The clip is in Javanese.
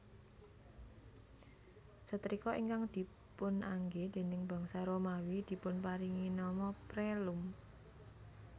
Setrika ingkang dipunanggé déning bangsa Romawi dipunparingi nama Prelum